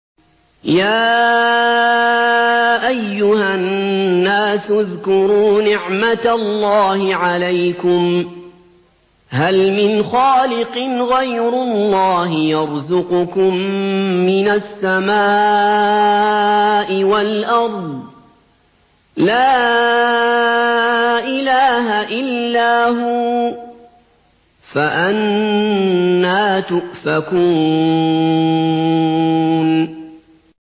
يَا أَيُّهَا النَّاسُ اذْكُرُوا نِعْمَتَ اللَّهِ عَلَيْكُمْ ۚ هَلْ مِنْ خَالِقٍ غَيْرُ اللَّهِ يَرْزُقُكُم مِّنَ السَّمَاءِ وَالْأَرْضِ ۚ لَا إِلَٰهَ إِلَّا هُوَ ۖ فَأَنَّىٰ تُؤْفَكُونَ